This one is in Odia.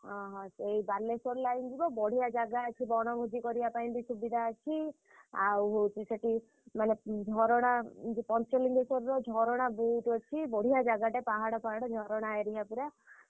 ଅହ ସେଇ ବାଲେଶ୍ୱର line ଯିବ। ବଢିଆ ଜାଗା ଅଛି ବଣଭୋଜି ବି କରିବା ପାଇଁ ବି ସୁବିଧା ଅଛି। ଆଉ ହଉଛି ସେଠି ମାନେ ଝରଣା ଉଁ ଯୋଉ ପଞ୍ଚଲିଙ୍ଗେଶ୍ୱରର ଝରଣା ବହୁତ୍ ଅଛି ବଢିଆ ଜାଗାଟେ ପାହାଡ ଫାହାଡ ଝରଣା area ପୁରା